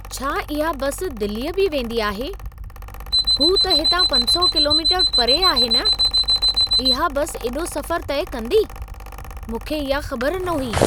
छा इहा बसि दिलीअ बि वेंदी आहे? हू त हितां 500 किलोमीटर परे आहे न? इहा बसि एॾो सफ़रु तइ कंदी, मूंखे इहा ख़बर न हुई।